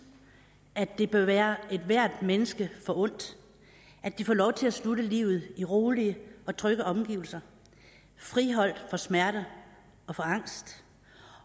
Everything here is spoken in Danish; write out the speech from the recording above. at det bør være ethvert menneske forundt at det får lov til at slutte livet i rolige og trygge omgivelser friholdt for smerter og for angst